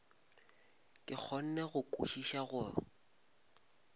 ke kgone go kwešiša go